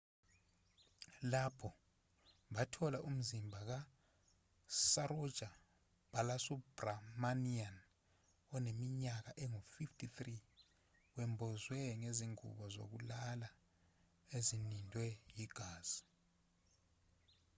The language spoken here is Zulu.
lapho bathola umzimba kasaroja balasubramanian oneminyaka engu-53 wembozwe ngezingubo zokulala ezinindwe yigazi